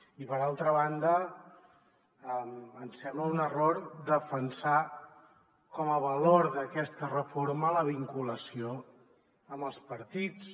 i per altra banda ens sembla un error defensar com a valor d’aquesta reforma la vinculació amb els partits